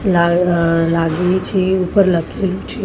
લા અ લાગેલી છે ઉપર લખેલું છે--